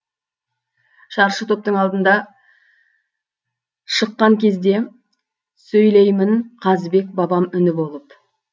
шаршы топтың алдында шыққан кезде сөйлеймін қазыбек бабам үні болып